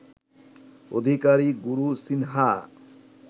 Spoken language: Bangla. অধিকারী গুরুসিনহা